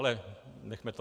Ale nechme to.